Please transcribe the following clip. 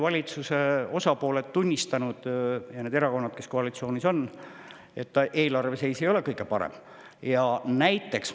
Valitsuse osapooled, need erakonnad, kes koalitsioonis on, on selgelt tunnistanud, et eelarve seis ei ole kõige parem.